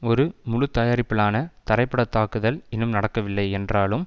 ஒரு முழுத்தயாரிப்பிலான தரைப்படைத்தாக்குதல் இன்னும் நடக்கவில்லை என்றாலும்